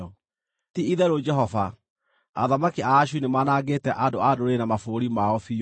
“Ti-itherũ, Jehova, athamaki a Ashuri nĩmanangĩte andũ a ndũrĩrĩ na mabũrũri mao biũ.